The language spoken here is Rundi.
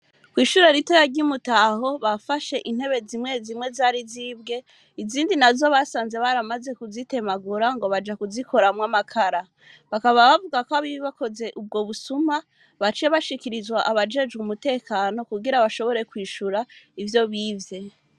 Kw’ishure ritoya, ry’i Mutaho, bafashe intebe zimwe zimwe, zari zibwe, izindi nazo, basanze baramaze, kuzitemagura ngo baja, kuzikoramwo amakara; bakaba bavuga ko, abakoze ubwo busuma, baciye bashikirizwa, abajejwe umutekano, kugira bashobore kwishura, ivyo bivye.